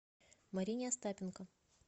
марине остапенко